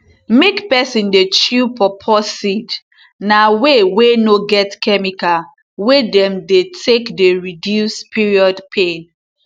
make peson dey chew pawpaw seed na way wey no get chemical wey dem take dey reduce period pain